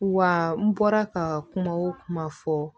Wa n bɔra ka kuma o kuma fɔ